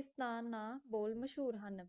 ਇਸਨਾਨਾਂ ਬਹੁਤ ਮਸ਼ਹੂਰ ਹਨ